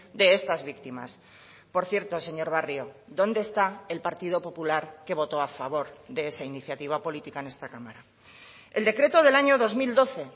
de estas víctimas por cierto señor barrio dónde está el partido popular que votó a favor de esa iniciativa política en esta cámara el decreto del año dos mil doce